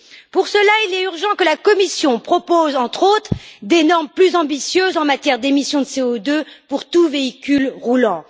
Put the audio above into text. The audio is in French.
Pour cela, il est urgent que la Commission propose, entre autres, des normes plus ambitieuses en matière d'émissions de CO2 pour tout véhicule roulant.